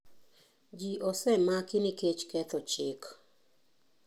Ji osemaki nikech ketho chik.